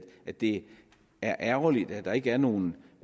at det er ærgerligt at der ikke er nogen